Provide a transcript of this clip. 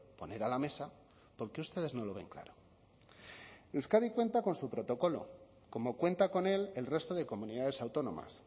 poner a la mesa porque ustedes no lo ven claro euskadi cuenta con su protocolo como cuenta con él el resto de comunidades autónomas